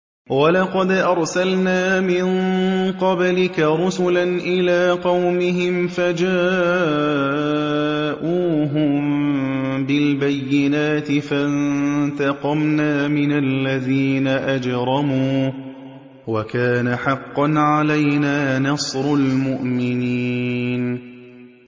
وَلَقَدْ أَرْسَلْنَا مِن قَبْلِكَ رُسُلًا إِلَىٰ قَوْمِهِمْ فَجَاءُوهُم بِالْبَيِّنَاتِ فَانتَقَمْنَا مِنَ الَّذِينَ أَجْرَمُوا ۖ وَكَانَ حَقًّا عَلَيْنَا نَصْرُ الْمُؤْمِنِينَ